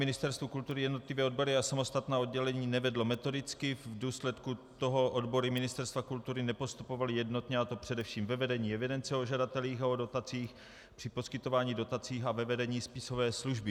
Ministerstvo kultury jednotlivé odbory a samostatná oddělení nevedlo metodicky, v důsledku toho odbory Ministerstva kultury nepostupovaly jednotně, a to především ve vedení evidence o žadatelích a o dotacích, při poskytování dotací a ve vedení spisové služby.